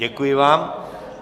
Děkuji vám.